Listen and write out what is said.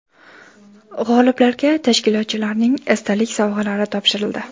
G‘oliblarga tashkilotchilarning esdalik sovg‘alari topshirildi.